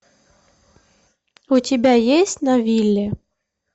у тебя есть на вилле